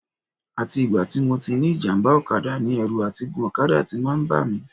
Àti ìgbà tí mo ti ní ìjàmbá ọ̀kadà ni ẹ̀rù àti gun ọ̀kadà ti máa ń bà mí